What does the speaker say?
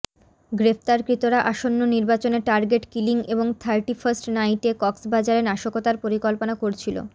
গ্রেফতারকৃতরা আসন্ন নির্বাচনে target killing এবং থার্টি ফাস্ট নাইটে কক্সবাজারে নাশকতার পরিকল্পনা করছিল